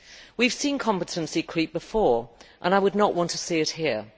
We have seen competency creep before, and I would not want to see it here.